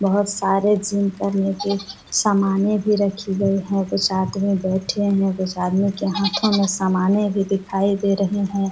बहुत सारे जिम करने के सामाने रखी गई है कुछ आदमी बैठे है कुछ आदमी के हाथों में समाने भी दिखाई दे रहे हैं।